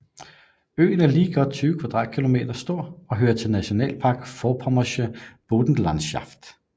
Øen er lige godt 20 kvadratkilometer stor og hører til Nationalpark Vorpommersche Boddenlandschaft